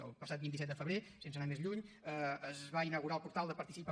el passat vint set de febrer sense anar més lluny es va inaugurar el portal de participa